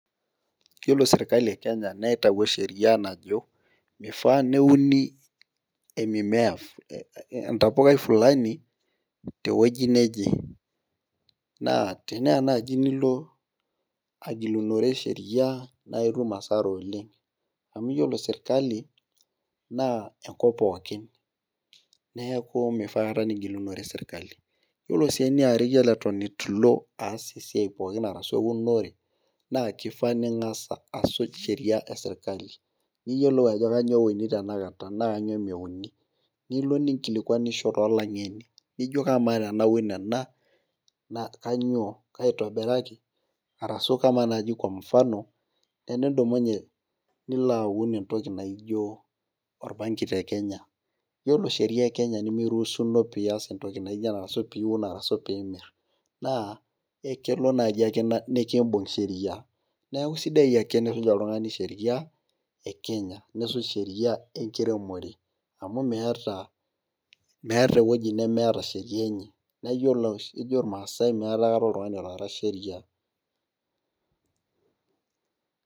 Iyiolo sirkali e Kenya nitayio Sheria naji, mifaa neuni e mimea entapukai Fulani, te wueji neje, naa teneya naaji nilo agilunore sheria naa itum asara oleng. amu iyiolo sirkali, naa enkop pookin neeku, mifaa aikata nigilunore serkali iyiolo sii eniare iyiolo Eton eitu ilo aas esiai pookin Arash euonore. naa mifaa ningas asuj Sheria esirkali. niyiolou ajo kainyioo euni tenaa kainyioo meuini. nilo ninkilikuanisho too lang'eni, ama tenanu ena kainyioo, kaitobiraki. arashu kamaa naji Kwa mfano enidumunye nilo aun entoki naijo orbanki te Kenya, iyiolo Sheria e Kenya nimiruusuno pee ias entoki naijo ena ashu, piun arashu pee imir. naa elelo naaji ake nikibung Sheria, neeku sidai ake nisuj oltungani Sheria. e Kenya nisuj Sheria tenkiremore amu meeta meeta ewueji nemeeta Sheria enye. naa iyiolo ejo ilmaasae meeta aikata oltungani otaara Sheria.